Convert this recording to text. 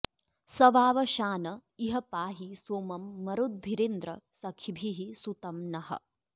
स वावशान इह पाहि सोमं मरुद्भिरिन्द्र सखिभिः सुतं नः